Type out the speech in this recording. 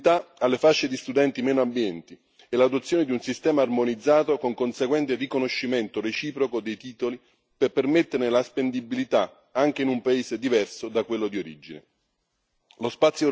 Va garantita la mobilità alle fasce di studenti meno abbienti e l'adozione di un sistema armonizzato con conseguente riconoscimento reciproco dei titoli per permetterne la spendibilità anche in un paese diverso da quello di origine.